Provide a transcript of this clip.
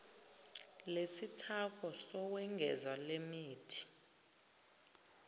lesithako sokwengeza lemithi